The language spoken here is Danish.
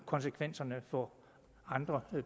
konsekvenserne for andre